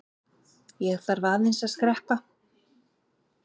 Ég þarf aðeins að skreppa.